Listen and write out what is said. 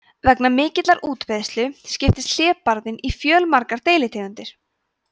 vegna mikillar útbreiðslu skiptist hlébarðinn í fjölmargar deilitegundir